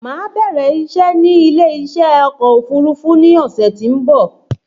Máa bẹ̀rẹ̀ ìṣé ní ilé ìṣe ọkọ̀ òfúrufú ní ọ̀sẹ̀ tí ó ń bọ̀